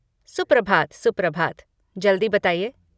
सुप्रभात सुप्रभात, जल्दी बताइये।